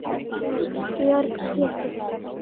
Þinn Georg Pétur.